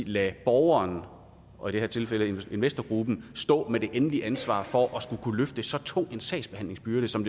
lade borgeren og i det her tilfælde investorgruppen stå med det endelige ansvar for at skulle kunne løfte så tung en sagsbehandlingsbyrde som